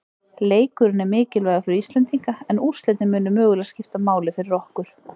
Leikurinn er mikilvægur fyrir Íslendinga, en úrslitin munu mögulega skipta máli fyrir okkur.